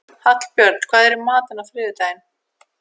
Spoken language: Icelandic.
Hallbjörn, hvað er í matinn á þriðjudaginn?